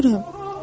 mən ölürəm.